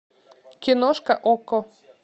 киношка окко